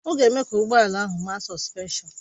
Ọ ga-eme ka ụgbọ ala ahụ maa sọspenshọn